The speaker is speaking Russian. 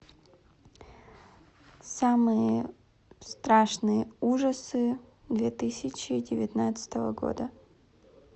самые страшные ужасы две тысячи девятнадцатого года